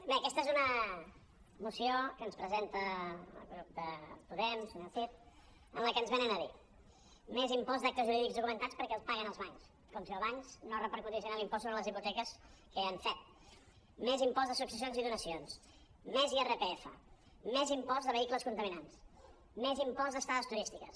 bé aquesta és una moció que ens presenta el grup de po·dem el senyor cid en què ens venen a dir més impost d’actes jurídics documentats perquè els paguen els bancs com si els bancs no repercutissin l’impost sobre les hi·poteques que ja ho han fet més impost de successions i donacions més irpf més impost de vehicles contaminants més impost d’estades turístiques